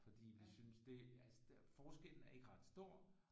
Fordi vi syntes det altså forskellen er ikke ret stor